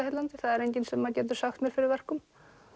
heillandi það er enginn sem getur sagt mér fyrir verkum